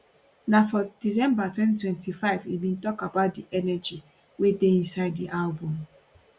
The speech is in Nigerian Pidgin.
na for december 2025 im bin tok about di energy wey dey inside di album